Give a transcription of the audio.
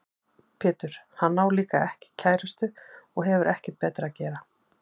Pétur: Hann á líka ekki kærustu og hefur ekkert betra að gera.